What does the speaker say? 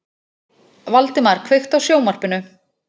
Valdemar, kveiktu á sjónvarpinu.